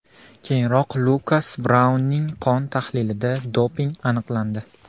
Keyinroq Lukas Braunning qon tahlilida doping aniqlandi .